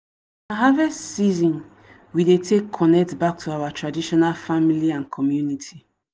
na harvest season we dey take connect back to our tradition family and community.